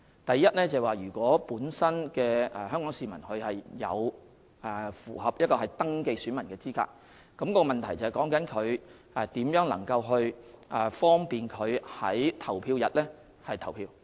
第一，如果有關的香港市民符合登記選民的資格，問題是如何能夠方便他們在投票日投票。